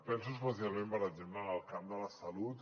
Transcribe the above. penso especialment per exemple en el camp de la salut